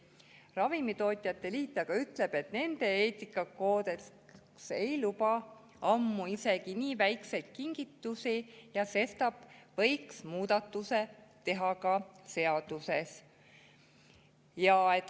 Ravimitootjate Liit aga ütleb, et nende eetikakoodeks ei luba ammu isegi nii väikseid kingitusi ja sestap võiks muudatuse teha ka seaduses.